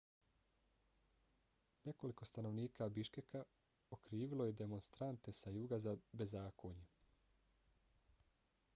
nekoliko stanovnika biškeka okrivilo je demonstrante sa juga za bezakonje